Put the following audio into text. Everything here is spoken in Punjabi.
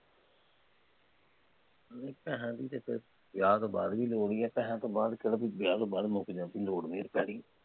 ਰਹਿਣ ਦੇ ਫੇਰ, ਵਿਆਹ ਤੋ ਂਬਾਅਦ ਵੀ ਜ਼ਰੂਰੀ ਹੈ, ਪੈਸਿਆ ਤੋਂ ਬਾਅਦ ਕਿਹੜਾ ਕੋਈ ਵਿਆਹ ਤੋਂ ਬਾਅਦ ਮੁੱਕ